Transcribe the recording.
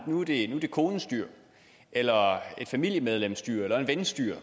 at nu er det konens dyr eller et familiemedlems dyr eller en vens dyr